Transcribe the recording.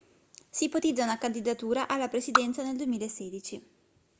si ipotizza una candidatura alla presidenza nel 2016